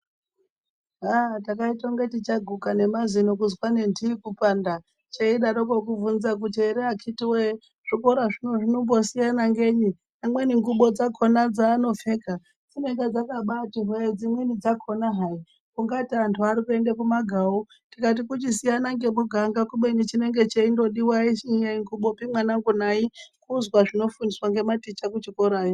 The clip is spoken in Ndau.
Aaa takaite kunge tichaguka ngemazino , kuzwa ngendii kupanda cheidaroko kuvhunza kuti ere akitiwoye zvikora zvino zvinombosiyana ngenyi, amweni ngubo dzakona dzaanopfeka dzinenge dzakabati here dzimweni dzakona hai ungati anhu arikuenda kumagawu tikati kuchisina ngemuganga kubeni chinenge cheindodiwa aisi ngubopi mwanangu nayi kuzwa zvinofundisa ngematicha kuchikorayo.